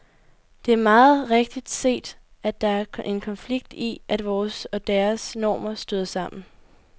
Det er meget rigtigt set, at der en konflikt i, at vores og deres normer støder sammen.